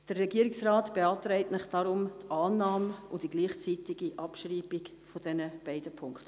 Der Regierungsrat beantragt Ihnen deshalb Annahme und gleichzeitige Abschreibung dieser beiden Punkte.